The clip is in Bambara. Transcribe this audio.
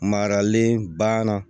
Maralen banna